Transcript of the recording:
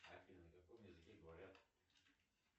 афина на каком языке говорят